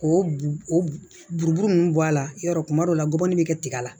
K'o b o buruburu nunnu bɔ a la yɔrɔ kuma dɔw la gɔbɔni bɛ tigɛ la